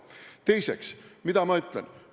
Teiseks – mida ma ütlen?